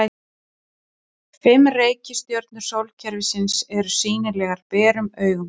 Fimm reikistjörnur sólkerfisins eru sýnilegar berum augum.